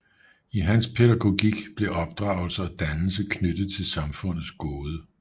I hans pædagogik blev opdragelse og dannelse knyttet til samfundets gode